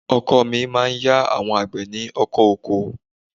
Ọkọ mi máa ń ya àwọn àgbẹ̀ ní ọkọ̀ oko